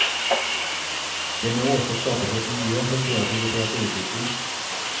Det må også skapes et miljø for kreativitet og utvikling.